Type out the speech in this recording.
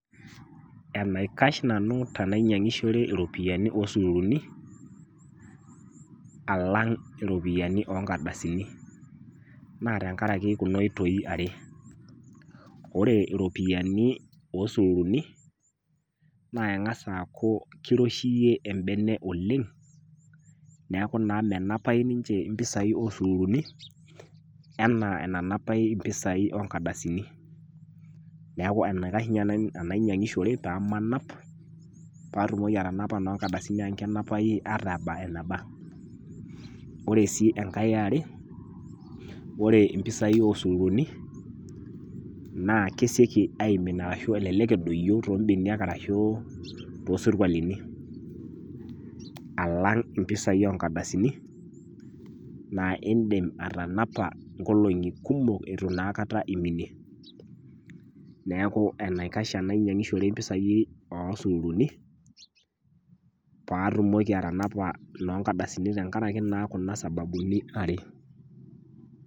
Enaikash nanu tenainyiangishore iropiyani oosururuni, alang iropiyani oonkardasini. Naa tenkaraki kuna oitoi are. Wore iropiyani oosururuni, naa engas aaku kiroshiyie embene oleng', neeku naa menapai ninche impisai oosururuni, enaa enanapai impisai oonkardasini. Neeku enaikash ninye anainyiangishore paamanap , paatumoki atanapa inoonkardasini amu kenapai ata eba eneba. Wore sii enkae eware, wore impisai oosururuni, naa kesieki aimin ashu elelek edoyio too mbeniak arashu toosurkualini, alang impisai oonkardasini, naa iindim atanapa nkolongi kumok itu naa aikata iminie. Neeku enaikash enainyiangishore impisai oosururuni paa atumoki atanapa inoonkardasini tenkaraki naa kuna sababuni are.